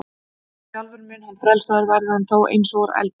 Sjálfur mun hann frelsaður verða, en þó eins og úr eldi.